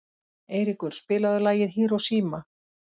Eiríkur, spilaðu lagið „Hiroshima“.